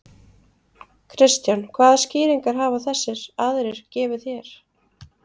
Kristján: Hvaða skýringar hafa þessir aðrir gefið þér?